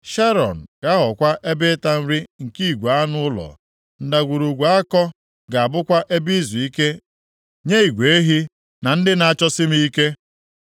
Sharọn ga-aghọkwa ebe ịta nri nke igwe anụ ụlọ; Ndagwurugwu Akọ ga-abụkwa ebe izuike nye igwe ehi, na ndị m na-achọsi m ike.